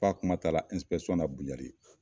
F'a kuma taara na